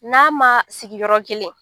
N'a ma sigi yɔrɔ kelen